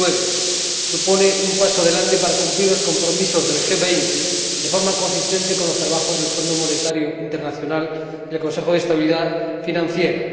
2009. Supone un paso adelante para cumplir los compromisos del G20 de forma consistente con los trabajos del Fondo Monetario Internacional y del Consejo de Estabilidad Financiera.